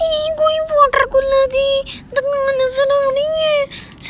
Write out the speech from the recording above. ਇਹ ਕੋਈ ਵੋਟਰਕੂਲਰ ਦੀ ਦੁਕਾਨ ਨਜ਼ਰ ਆ ਰਹੀ ਹੈ। ਸ --